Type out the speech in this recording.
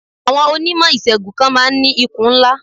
Àwọn Onímọ̀ ìṣègùn kan ma ń ní ikùn ńlá.